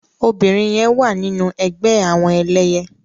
Óbirin yèn wá ninú ègbè àwòn èlèyè